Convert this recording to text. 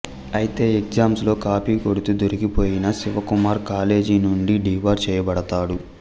ఐతే ఎగ్జామ్స్ లో కాపీ కొడుకుతూ దొరికిపోయిన శివ కుమార్ కాలేజీ నుండి డిబార్ చేయబడతాడు